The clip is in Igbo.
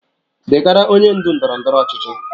Degara onye ndu ndọrọ ndọrọ ọchịchị